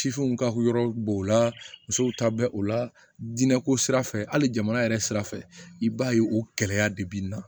Sifinw ka hukumu b'o la musow ta bɛ o la diinɛko sira fɛ hali jamana yɛrɛ sira fɛ i b'a ye o gɛlɛya de bɛ n na